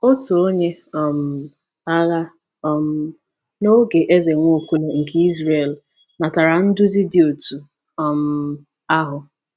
Otu onye um agha um n’oge Eze Nwaokolo nke Izrel natara nduzi dị otú um ahụ.